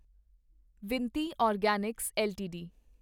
Vinati organics LTD